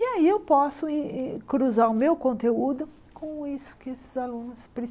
E aí eu posso e e cruzar o meu conteúdo com isso que esses alunos